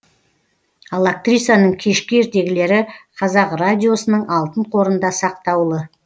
ал актрисаның кешкі ертегілері қазақ радиосының алтын қорында сақтаулы